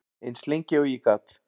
Eins lengi og ég gat.